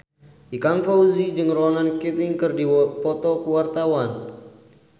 Ikang Fawzi jeung Ronan Keating keur dipoto ku wartawan